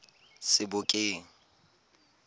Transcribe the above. sebokeng